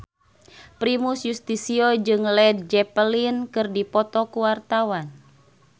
Primus Yustisio jeung Led Zeppelin keur dipoto ku wartawan